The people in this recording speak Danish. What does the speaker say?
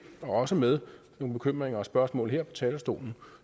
også med nogle bekymringer og spørgsmål her fra talerstolen